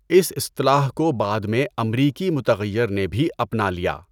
اس اصطلاح کو بعد میں امریکی متغیر نے بھی اپنا لیا۔